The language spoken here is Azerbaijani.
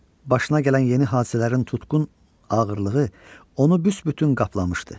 Başına gələn yeni hadisələrin tutqun ağırlığı onu büsbütün qaplamışdı.